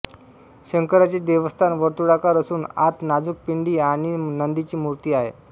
शंकराचे देवस्थान वर्तुळाकार असून आत नाजूक पिंडी आणि नंदीची मूर्ती आहे